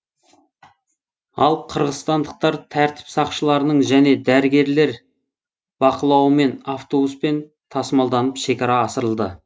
ал қырғызстандықтар тәртіп сақшыларының және дәрігерлер бақылауымен автобуспен тасымалданып шекара асырылды